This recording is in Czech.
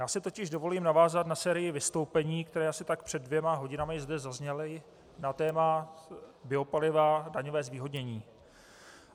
Já si totiž dovolím navázat na sérii vystoupení, která asi tak před dvěma hodinami zde zazněla na téma biopaliva, daňové zvýhodnění.